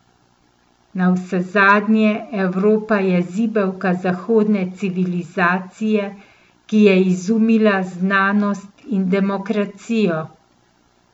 Navsezadnje, Evropa je zibelka zahodne civilizacije, ki je izumila znanost in demokracijo.